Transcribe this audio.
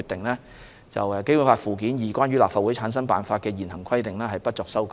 根據該決定，《基本法》附件二關於立法會產生辦法的現行規定不作修改。